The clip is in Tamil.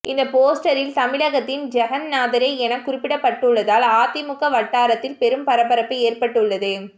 இந்த போஸ்டரில் தமிழகத்தின் ஜெகந்நாதரே என குறிப்பிடப்பட்டுள்ளதால் அதிமுக வட்டாரத்த்ஹில் பெரும் பரபரப்பு ஏற்பட்டுள்ளது